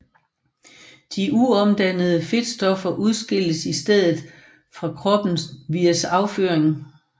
De uomdannede fedtstoffer udskilles i stedet fra kroppen via afføring